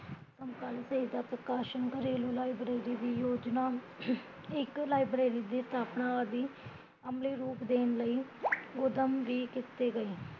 ਸਮਕਲੀ ਸਾਹਿਤ ਦਾ ਪ੍ਰਕਾਸ਼ਨ ਗਰੇਲੂ library ਦੀ ਯੋਜਨਾ ਇੱਕ library ਦੀ ਸਥਾਪਨਾ ਆਦਿ, ਅਮਲੀ ਰੂਪ ਦੇਣ ਲਈ ਉੱਦਮ ਵੀ ਕੀਤੇ ਗਏ